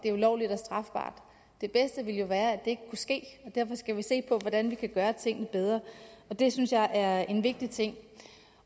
er ulovlige og strafbare det bedste ville jo være at ikke kunne ske og derfor skal vi se på hvordan vi kan gøre tingene bedre og det synes jeg er en vigtig ting